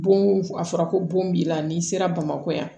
Bon a fɔra ko bon b'i la n'i sera bamakɔ yan